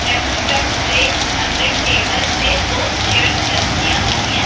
Restaurant ਦੇ ਅੰਦਰ table ਤੇ ਦੋ ਚੇਅਰਜ਼ ਲੱਗਿਆ ਹੋਈਆਂ।